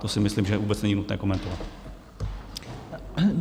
To si myslím, že vůbec není nutné komentovat.